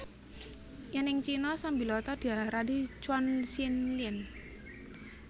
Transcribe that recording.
Yèn ing Cina sambiloto diarani chuan xin lien